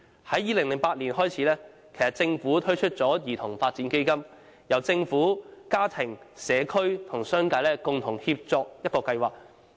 由2008年起，政府推出了兒童發展基金，是一個由政府、家庭、社區和商界共同協作的計劃。